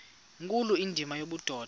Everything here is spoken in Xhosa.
nkulu indima yobudoda